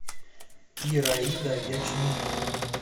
ираида ячменева